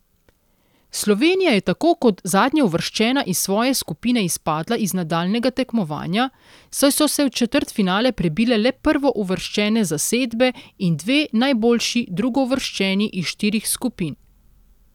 Slovenija je tako kot zadnjeuvrščena iz svoje skupine izpadla iz nadaljnjega tekmovanja, saj so se v četrtfinale prebile le prvouvrščene zasedbe in dve najboljši drugouvrščeni iz štirih skupin.